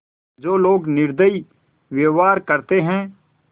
जो लोग निर्दयी व्यवहार करते हैं